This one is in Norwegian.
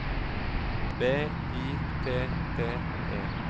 B I T T E